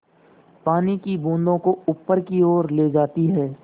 पानी की बूँदों को ऊपर की ओर ले जाती है